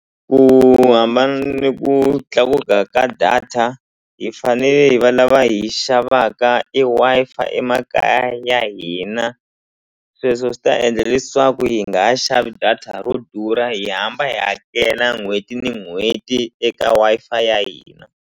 Ku hambana ni ku tlakuka ka data hi fanele hi va lava hi xavaka e Wi-Fi emakaya ya hina sweswo swi ta endla leswaku hi nga ha xavi data ro durha hi hamba hi hakela n'hweti ni n'hweti eka Wi-Fi ya hina.